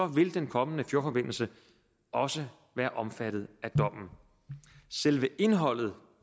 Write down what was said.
vil den kommende fjordforbindelse også være omfattet af dommen selve indholdet